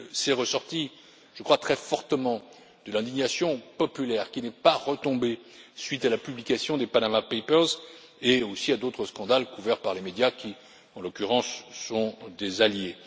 Cela est ressorti, je crois, très fortement de l'indignation populaire qui n'est pas retombée à la suite de la publication des Panama papers et aussi d'autres scandales couverts par les médias qui, en l'occurrence, sont des alliés.